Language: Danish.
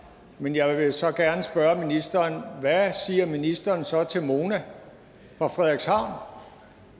men jeg vil så gerne spørge ministeren hvad siger ministeren så til mona fra frederikshavn